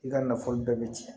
I ka nafolo bɛɛ bɛ cɛn